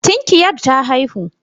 Tinkiyar ta haihu.